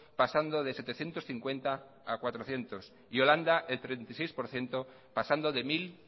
pasando de setecientos cincuenta a cuatrocientos y holanda el treinta y seis por ciento pasando de mil